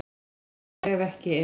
Fer á sker ef ekki er